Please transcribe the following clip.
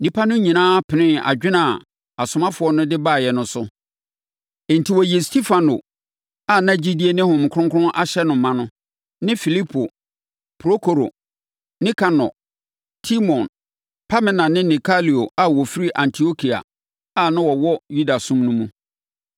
Nnipa no nyinaa penee adwene a asomafoɔ no de baeɛ no so. Enti, wɔyii Stefano a na gyidie ne Honhom Kronkron ahyɛ no ma no, ne Filipo, Prokoro, Nikanor, Timon, Pamina ne Nikolao a ɔfiri Antiokia a na ɔwɔ Yudasom no mu.